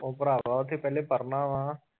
ਉਹ ਭਰਾਵਾਂ ਓਥੇ ਪੇਲੇ ਪੜ੍ਹਨਾ ਵਾ।